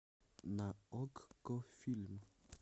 на окко фильм